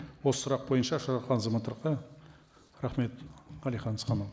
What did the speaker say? осы сұрақ бойынша азаматтарға рахмет әлихан асханұлы